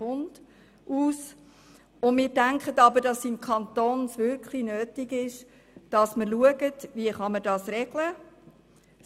Es ist aber wirklich wichtig zu schauen, wie das im Kanton geregelt werden kann.